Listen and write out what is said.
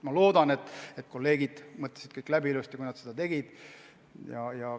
Ma loodan, et kolleegid mõtlesid kõik ilusti läbi, enne kui nad otsuse tegid.